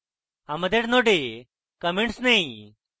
আমাদের nodes comments নেই